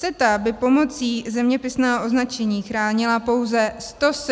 CETA by pomocí zeměpisného označení chránila pouze 173 produktů.